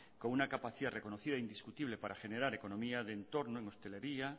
con una capacidad reconocida indiscutible para generar economía en el entorno en hostelería